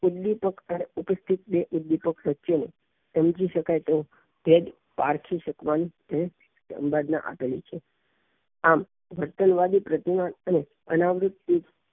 ઉદ્વિપક અને ઉપેક્ષિત ને સત્ય ને સમજી સકાય તેમ પારખી શકવાની પ્રક્રિયા આપેલું છે આમ અનાવરિત ધરાવતા